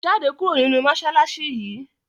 jáde kúrò ninú masalasi yi!